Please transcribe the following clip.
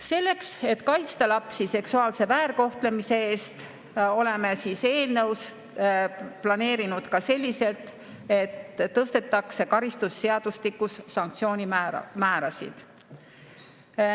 Selleks, et kaitsta lapsi seksuaalse väärkohtlemise eest, oleme eelnõus planeerinud ka selliselt, et tõstetakse karistusseadustikus sanktsioonimäärasid.